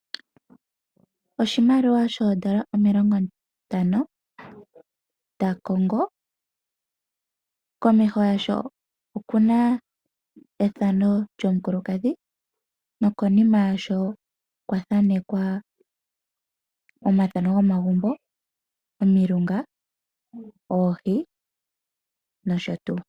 Oshimaliwa shefo lyoondola omilongo ntano dhaCongo oshi na efano lyomukulukadhi komeho yasho, nokonima oku li taku monika efano, ndyoka mulyo mu na omagumbo , omilunga, oohi nosho tuu.